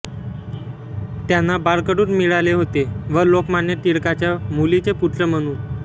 त्यांना बाळकडूच मीळाले होते व लोकमान्य टिळकाच्या मुलीचे पुत्र म्हणून